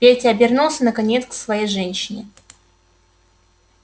петя обернулся наконец к своей женщине